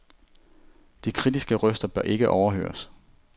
De kritiske røster bør ikke overhøres.